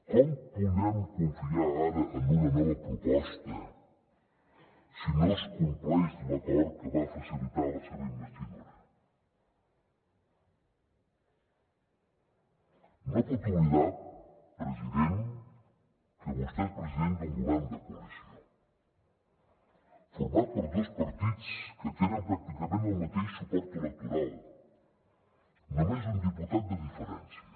com podem confiar ara en una nova proposta si no es compleix l’acord que va facilitar la seva investidura no pot oblidar president que vostè és president d’un govern de coalició format per dos partits que tenen pràcticament el mateix suport electoral només un diputat de diferència